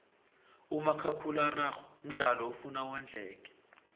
umakhakhula araxhwe mdlalo ofuna wondleke